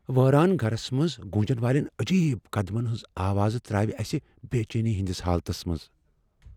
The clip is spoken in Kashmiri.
وٲران گھرس منز گوُنجن والین عجیب قدمن ہنزِ آوازِ تر٘ٲوِ اسہِ بے٘ چینی ہندِس حالتس منز ۔